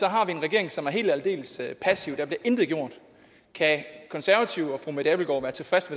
har vi en regering som er helt og aldeles passiv der bliver intet gjort kan konservative og fru mette abildgaard være tilfreds